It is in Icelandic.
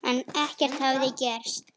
En ekkert hafði gerst.